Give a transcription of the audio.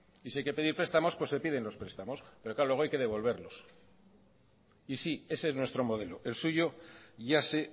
y si hay que pedir prestamos pues se piden los prestamos pero claro luego hay que devolverlos y sí ese es nuestro modelo el suyo ya sé